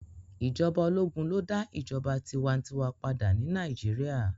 Ijọba ologun lo da ijọba tiwantiwa pada ni Naijiria